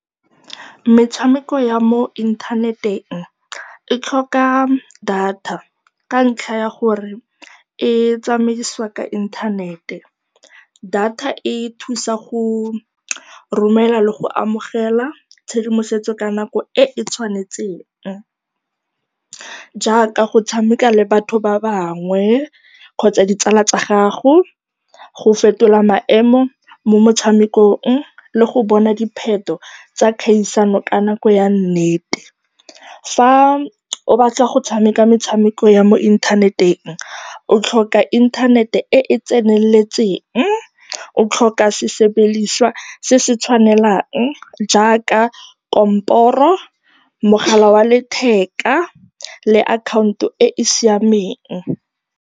Metshameko ya mo inthaneteng e tlhoka data ka ntlha ya gore e tsamaisiwa ka inthanete. Data e thusa go romela le go amogela tshedimosetso ka nako e e tshwanetseng jaaka go tshameka le batho ba bangwe kgotsa ditsala tsa gago, go fetola maemo mo motshamekong le go bona dipheto tsa kgaisano ka nako ya nnete. Fa o batla go tshameka metshameko ya mo inthaneteng o tlhoka inthanete e e tseneletseng, o tlhoka sesebediswa se se tshwanelang jaaka komporo, mogala wa letheka le akhaonto e e siameng.